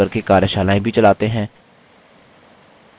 spoken tutorials का उपयोग करके कार्यशालाएँ भी चलाते हैं